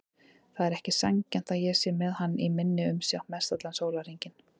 Það er ekki sanngjarnt að ég sé með hann í minni umsjá mestallan sólarhringinn.